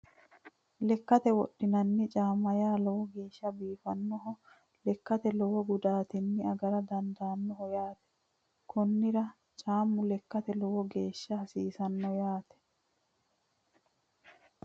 Lekkate wodhinanni caama yaa lowo geesha biifanoho lekkano lowo gudaatinni agara dandaanoho yaate konnira caamu lekkate lowo geeshsha hasiisano yaate